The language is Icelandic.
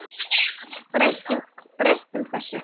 Breytum þessu!